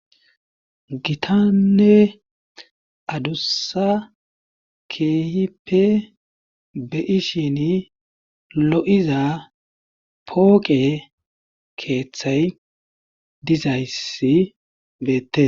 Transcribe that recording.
gitanne adussa keehipe be'ishin lo'iza pooqe keeththay dizayssi beette